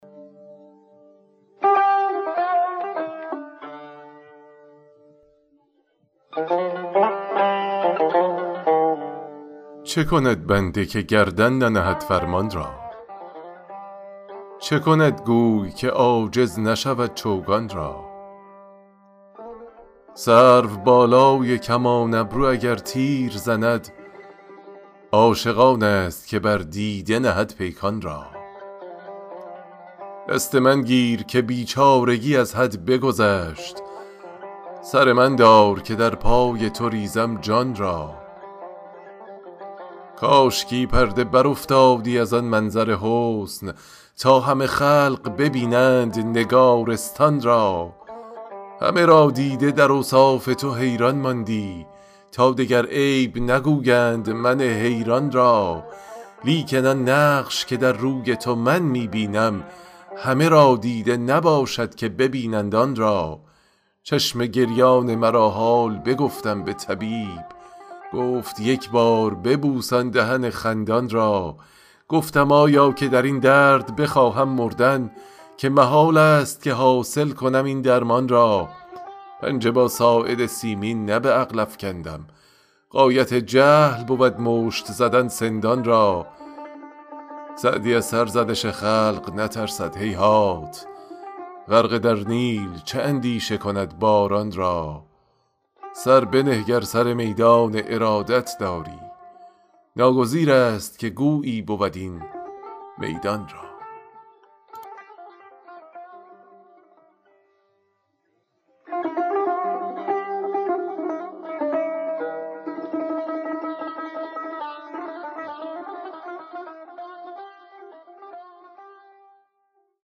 چه کند بنده که گردن ننهد فرمان را چه کند گوی که عاجز نشود چوگان را سروبالای کمان ابرو اگر تیر زند عاشق آنست که بر دیده نهد پیکان را دست من گیر که بیچارگی از حد بگذشت سر من دار که در پای تو ریزم جان را کاشکی پرده برافتادی از آن منظر حسن تا همه خلق ببینند نگارستان را همه را دیده در اوصاف تو حیران ماندی تا دگر عیب نگویند من حیران را لیکن آن نقش که در روی تو من می بینم همه را دیده نباشد که ببینند آن را چشم گریان مرا حال بگفتم به طبیب گفت یک بار ببوس آن دهن خندان را گفتم آیا که در این درد بخواهم مردن که محالست که حاصل کنم این درمان را پنجه با ساعد سیمین نه به عقل افکندم غایت جهل بود مشت زدن سندان را سعدی از سرزنش خلق نترسد هیهات غرقه در نیل چه اندیشه کند باران را سر بنه گر سر میدان ارادت داری ناگزیرست که گویی بود این میدان را